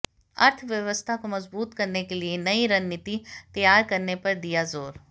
अर्थव्यवस्था को मज़बूत करने के लिए नई रणनीति तैयार करने पर दिया जोर